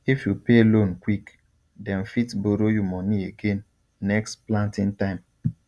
if you pay loan quick dem fit borrow you money again next planting time